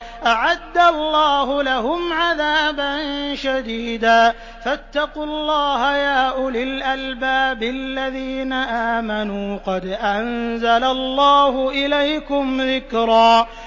أَعَدَّ اللَّهُ لَهُمْ عَذَابًا شَدِيدًا ۖ فَاتَّقُوا اللَّهَ يَا أُولِي الْأَلْبَابِ الَّذِينَ آمَنُوا ۚ قَدْ أَنزَلَ اللَّهُ إِلَيْكُمْ ذِكْرًا